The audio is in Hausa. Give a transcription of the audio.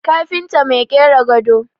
kafinta Mai kera gado